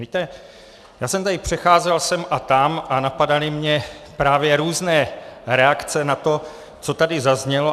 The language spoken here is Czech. Víte, já jsem tady přecházel sem a tam a napadaly mě právě různé reakce na to, co tady zaznělo.